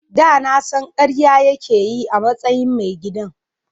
Da na san karya yake yi a matsayin mai gidan.